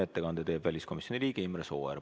Ettekande teeb väliskomisjoni liige Imre Sooäär.